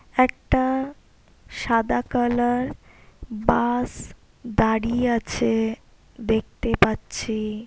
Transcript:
একটা সাদা colour bus দাঁড়িয়ে আছে দেখতে পাচ্ছি।